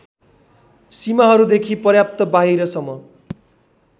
सीमाहरूदेखि पर्याप्त बाहिरसम्म